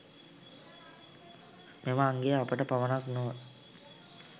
මෙම අංගය අපට පමණක් නොව